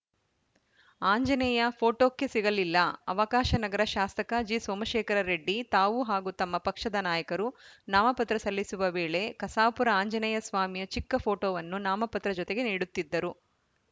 ಆಂಜನೇಯ ಫೋಟೋಕ್ಕೆ ಸಿಗಲಿಲ್ಲ ಅವಕಾಶ ನಗರ ಶಾಸಕ ಜಿಸೋಮಶೇಖರ ರೆಡ್ಡಿ ತಾವು ಹಾಗೂ ತಮ್ಮ ಪಕ್ಷದ ನಾಯಕರು ನಾಮಪತ್ರ ಸಲ್ಲಿಸುವ ವೇಳೆ ಕಸಾಪುರ ಆಂಜನೇಯ ಸ್ವಾಮಿಯ ಚಿಕ್ಕಫೋಟೋವನ್ನು ನಾಮಪತ್ರ ಜೊತೆಗೆ ನೀಡುತ್ತಿದ್ದರು